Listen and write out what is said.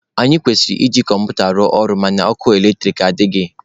Anyị kwesịrị iji kọmputa rụọ ọrụ mana ọkụ eletrik adịghị.